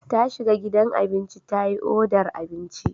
Ta shiga gidan abinci ta yi odar abinci.